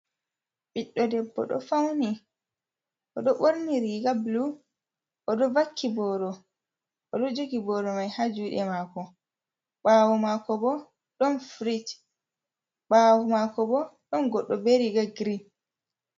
Ɓiddo debbo ɗo fauni. Oɗo ɓorni riga bulu. Oɗo vakki boro, oɗo jogi boromai ha juɗe mako. Ɓawo mako bo ɗon firij. Ɓawo mako bo ɗon goɗɗo be riga girin